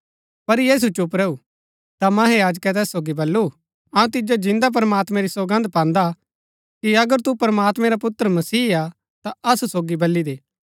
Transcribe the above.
पर यीशु चुप रैऊ ता महायाजकै तैस सोगी बल्लू अऊँ तिजो जिन्दै प्रमात्मां री सौगन्द पान्दा कि अगर तु प्रमात्मैं रा पुत्र मसीह हा ता असु सोगी बली दे